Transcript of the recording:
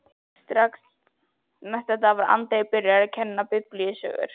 Strax næsta dag var Andri byrjaður að kenna biblíusögur.